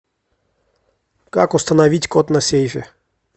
как установить код на сейфе